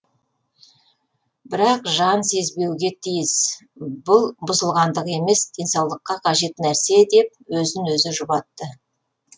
бірақ жан сезбеуге тиіс бүл бұзылғандық емес денсаулыққа қажет нәрсе деп өзін өзі жұбатты